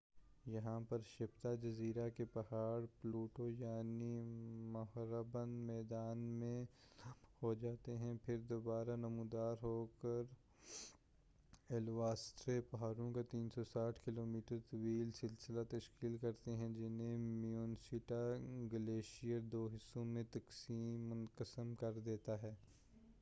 یہاں پر شبۃ جزیرہ کے پہاڑ پلاٹو یعنی مُحَدَّب میدان میں ضم ہو جاتے ہیں پھر دوبارہ نمودار ہوکرایلسورتھ پہاڑوں کا 360 کلو میٹر طویل سلسلہ تشکیل کرتے ہیں جنہیں منیسوٹا گلیشیئر دو حصوں میں منقسم کر دیتا ہے